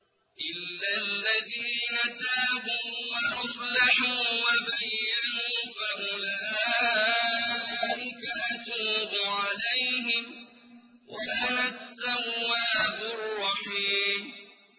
إِلَّا الَّذِينَ تَابُوا وَأَصْلَحُوا وَبَيَّنُوا فَأُولَٰئِكَ أَتُوبُ عَلَيْهِمْ ۚ وَأَنَا التَّوَّابُ الرَّحِيمُ